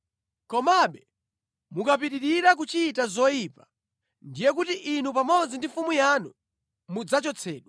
Komabe mukapitirira kuchita zoyipa, ndiye kuti inu pamodzi ndi mfumu yanu mudzachotsedwa.”